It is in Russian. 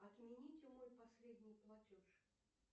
отмените мой последний платеж